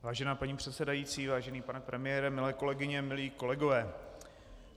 Vážená paní předsedající, vážený pane premiére, milé kolegyně, milí kolegové.